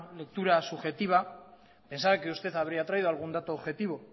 lectura subjetiva pensaba que usted habría traído algún dato objetivo